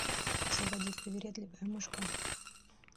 заводи привередливая мышка